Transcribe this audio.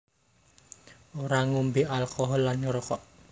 Ora ngombé alkohol lan ngrokok